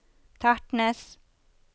Tertnes